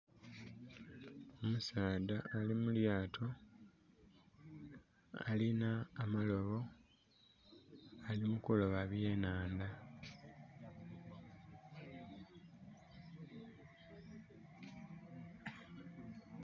Omusaadha ali mulyaato alinha amalobo ali kuloba bwa nhandha.